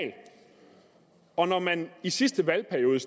og når man i sidste valgperiode